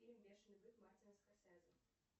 фильм бешеный бык мартина скорсезе